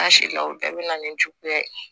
An si la o bɛɛ bɛ na ni juguya ye